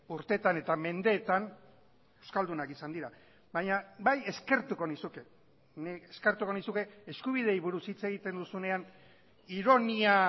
urteetan eta mendeetan euskaldunak izan dira baina bai eskertuko nizuke nik eskertuko nizuke eskubideei buruz hitz egiten duzunean ironia